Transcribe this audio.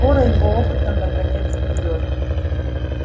скоро его опытам конец придёт